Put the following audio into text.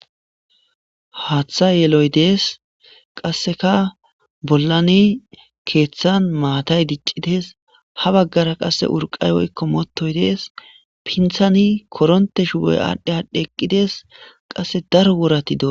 haaththa yeloy dees qasseka bollani keeththan maatay diccides ha baggara qasse urqay woykko mootoy dees pinthani koronte shuboy aadhdhe aadhdhe eqqides qasse daro worati do